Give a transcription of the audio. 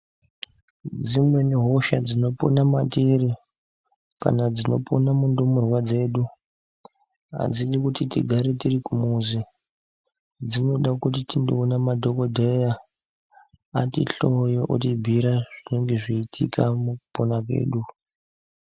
Dzimweni hosha dzinopona matiri kana dzinopona mundumurwa dzedu adzidi kuti tigare tiri kumuzi, dzinoda kuti tindoona madhokodheya atihloye otibhiira zvinenge zveiitika mukupona kwedu.